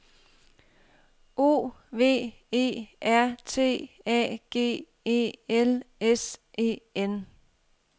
O V E R T A G E L S E N